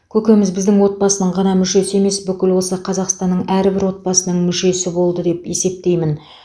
көкеміз біздің отбасының ғана мүшесі емес бүкіл осы қазақстанның әрбір отбасының мүшесі болды деп есептеймін